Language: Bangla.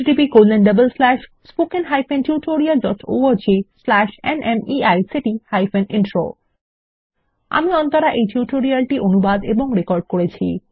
httpspoken tutorialorgNMEICT Intro আমি অন্তরা এই টিউটোরিয়াল টি অনুবাদ এবং রেকর্ড করেছি